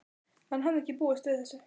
Hann hafði ekki búist við þessu.